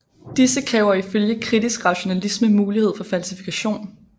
Disse kræver ifølge kritisk rationalisme mulighed for falsifikation